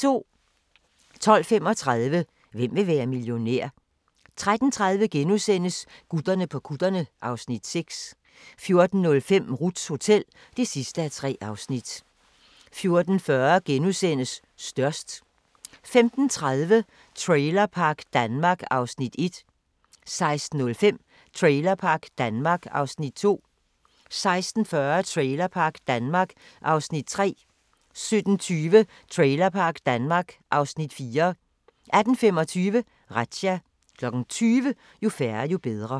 12:35: Hvem vil være millionær? 13:30: Gutterne på kutterne (Afs. 6)* 14:05: Ruths Hotel (3:3) 14:40: Størst * 15:30: Trailerpark Danmark (Afs. 1) 16:05: Trailerpark Danmark (Afs. 2) 16:40: Trailerpark Danmark (Afs. 3) 17:20: Trailerpark Danmark (Afs. 4) 18:25: Razzia 20:00: Jo færre, jo bedre